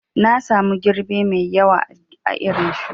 Nasamu girbe mai ƴawa a irin shuki